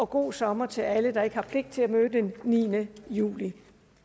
god sommer til alle der ikke har pligt til at møde den niende juli